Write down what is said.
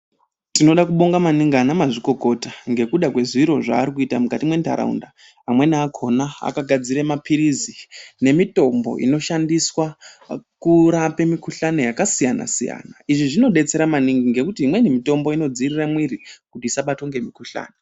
Tinoda kubonga maningi ana mazvikokota ngekuda kwe zviro zvaari kuita mukati me ndaraunda amweni akona aka gadzire mapirirsi ne mitombo ino shandiswe kurapa mi kuhlani yaka siyana siyana izvi zvino detsera maningi ngekuti imwe mitombo ino dzivirira mwiri kuti isabatwa ne mi kuhlani.